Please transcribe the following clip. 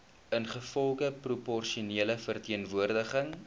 ingevolge proporsionele verteenwoordiging